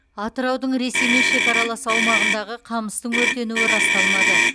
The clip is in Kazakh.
атыраудың ресеймен шекаралас аумағындағы қамыстың өртенуі расталмады